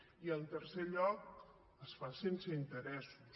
i en tercer lloc es fa sense interessos